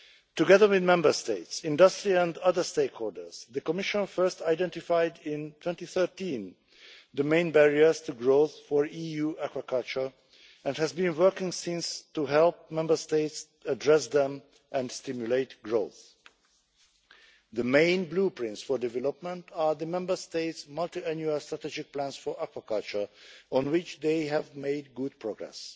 Together with Member States, industry and other stakeholders, the Commission first identified in 2013 the main barriers to growth for EU aquaculture and has been working since to help Member States address them and stimulate growth. The main blueprints for development are the Member States' multi annual strategic plans for aquaculture, on which they have made good progress,